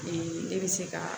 ne bɛ se ka